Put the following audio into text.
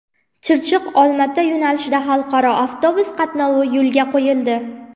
Chirchiq Olmaota yo‘nalishida xalqaro avtobus qatnovi yo‘lga qo‘yildi.